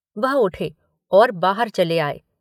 वह उठे और बाहर चले आए।